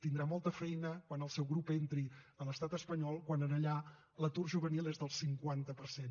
tindrà molta feina quan el seu grup entri a l’estat espanyol quan allà l’atur juvenil és del cinquanta per cent